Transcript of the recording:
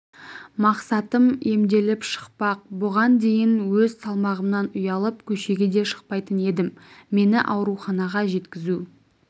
мақсатым емделіп шықпақ бұған дейін өз салмағымнан ұялып көшеге де шықпайтын едім мені ауруханаға жеткізу